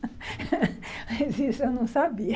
Mas isso eu não sabia.